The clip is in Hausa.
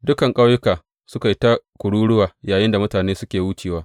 Dukan ƙauyuka suka yi ta kururuwa yayinda mutanen suke wucewa.